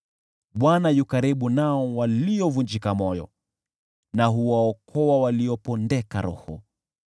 Bwana yu karibu na waliovunjika moyo, na huwaokoa waliopondeka roho.